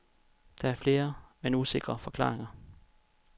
Der er flere, men usikre forklaringer.